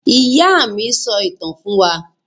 Ìyá mi sọ ìtàn fún wa.